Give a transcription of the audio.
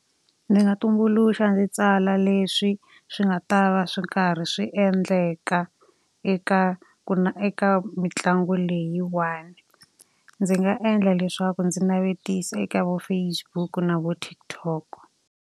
Ndzi nga tumbuluxa ndzi tsala leswi swi nga ta va swi karhi swi endleka eka eka mitlangu leyiwani. Ndzi nga endla leswaku ndzi navetisa eka vo Facebook na vo TikTok.